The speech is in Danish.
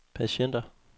patienter